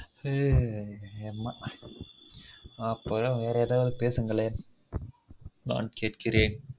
ஹன் ஆமா அப்பொ வேற ஏதாவது பேசுங்களன் நான் கேட்குறென்